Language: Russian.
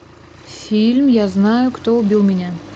фильм я знаю кто убил меня